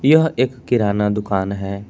यह एक किराना दुकान है।